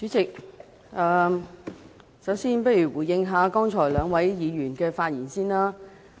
主席，我想先回應兩位議員剛才的發言。